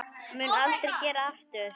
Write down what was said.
Mun aldrei gera aftur.